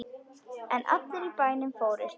En allir í bænum fórust.